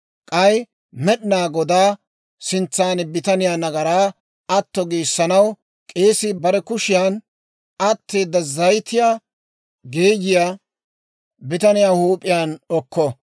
K'ay Med'inaa Godaa sintsan bitaniyaa nagaraa atto giissanaw, k'eesii bare kushiyaan atteeda zayitiyaa geeyiyaa bitaniyaa huup'iyaan okko.